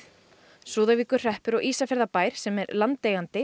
Súðavíkurhreppur og Ísafjarðarbær sem er landeigandi